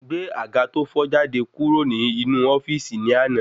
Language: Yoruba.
Gbé àga to fo jáde kúrò ní inú ofíìsì ni àná